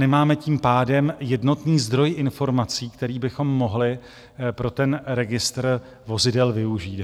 Nemáme tím pádem jednotný zdroj informací, který bychom mohli pro ten registr vozidel využít.